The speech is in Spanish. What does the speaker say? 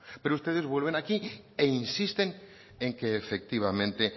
pero ustedes vuelven aquí e insisten en que efectivamente